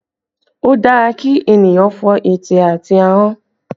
Ó dára kí ènìyàn fọ ète àti ahọ́n